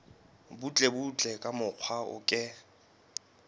butlebutle ka mokgwa o ke